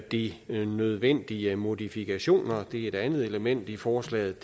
de nødvendige modifikationer det er et andet element i forslaget